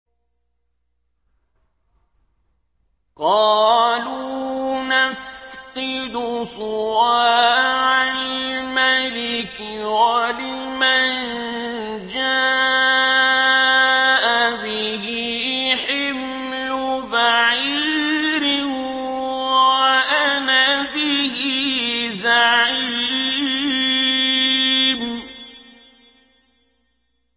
قَالُوا نَفْقِدُ صُوَاعَ الْمَلِكِ وَلِمَن جَاءَ بِهِ حِمْلُ بَعِيرٍ وَأَنَا بِهِ زَعِيمٌ